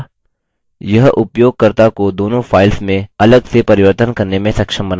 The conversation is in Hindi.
दूसरा यह उपयोगकर्ता को दोनों files में अलग से परिवर्तन करने में सक्षम बनाता है